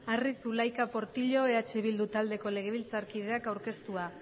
arri zulaika portillo eh bildu taldeko legebiltzarkideak aurkeztua